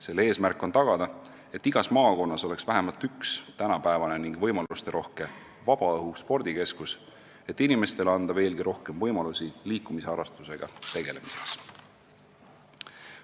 Selle eesmärk on tagada, et igas maakonnas oleks vähemalt üks tänapäevane vabaõhuspordikeskus, et anda inimestele veelgi rohkem võimalusi liikumisharrastusega tegelemiseks.